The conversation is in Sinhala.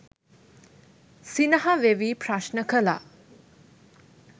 සිනහ වෙවී ප්‍රශ්න කළා.